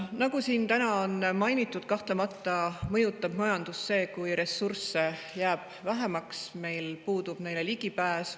Nagu siin täna on mainitud, mõjutab majandust kahtlemata see, kui ressursse jääb vähemaks või meil puudub neile ligipääs.